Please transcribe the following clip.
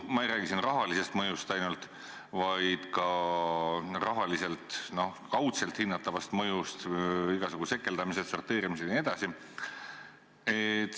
Ma ei räägi siin ainult rahalisest mõjust, vaid ka muust kaudselt hinnatavast mõjust: igasugused sekeldamised, sorteerimised jne.